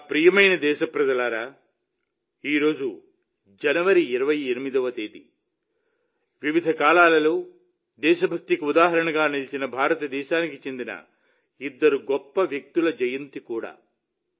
నా ప్రియమైన దేశప్రజలారా ఈ రోజు జనవరి 28వ తేదీ వివిధ కాలాల్లో దేశభక్తికి ఉదాహరణగా నిలిచిన భారతదేశానికి చెందిన ఇద్దరు గొప్ప వ్యక్తుల జయంతి కూడా